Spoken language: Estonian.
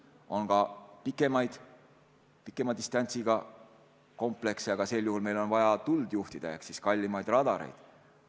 On ka pikemat distantsi võimaldavaid komplekse, aga sel juhul on vaja tuld juhtida ehk siis kallimaid radareid.